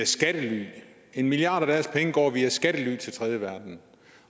skattely en milliard af deres penge går via skattely til den tredje verden